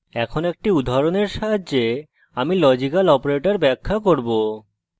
এখন একটি উদাহরণের সাহায্যে আমি লজিক্যাল operators ব্যাখ্যা করব